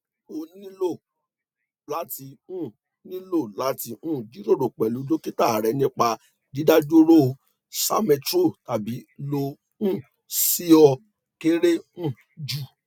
o nilo lati um nilo lati um jiroro pẹlu dokita rẹ nipa didaduro salmeterol tabi lo um si o kere um ju